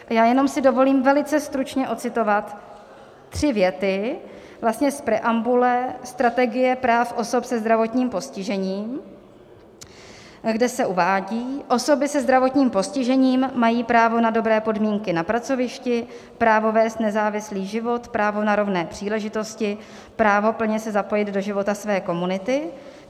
A já jenom si dovolím velice stručně ocitovat tři věty vlastně z preambule Strategie práv osob se zdravotním postižením, kde se uvádí: "Osoby se zdravotním postižením mají právo na dobré podmínky na pracovišti, právo vést nezávislý život, právo na rovné příležitosti, právo plně se zapojit do života své komunity.